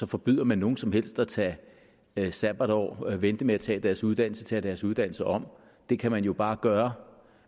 forbyder nogen som helst at tage sabbatår vente med at tage deres uddannelse eller tage deres uddannelse om det kan man jo bare gøre